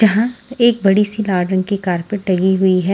जहा एक बड़ी सी गार्डन की कारपेट टंगी हुई है।